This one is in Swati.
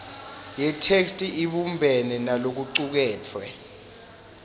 yetheksthi ibumbene nalokucuketfwe